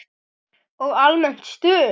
Og almennt stuð!